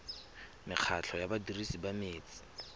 mekgatlho ya badirisi ba metsi